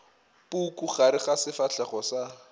puku gare ga sefahlego sa